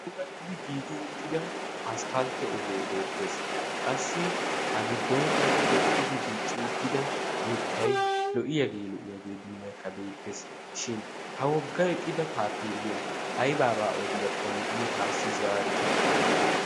pulattidi giigi uttida asppaltte ogee beettees qassi a giddonkkaa tokettidi diicci uttida mittay lo"iyaagee lo"iyaagee dummaekka beettees. shin ha wogga eqqida taapeelliyaa aibaabaa odiyaakkonne ane taassi zaarute?